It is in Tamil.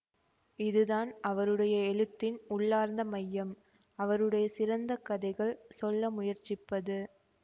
இது தான் அவருடைய எழுத்தின் உள்ளார்ந்த மையம் அவருடைய சிறந்த கதைகள் சொல்ல முயற்சிப்பது